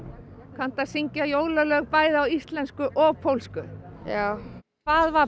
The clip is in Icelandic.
kanntu að syngja jólalög bæði á íslensku og pólsku já hvað var